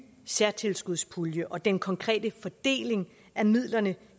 særtilskudspulje og den konkrete fordeling af midlerne